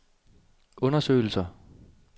undersøgelser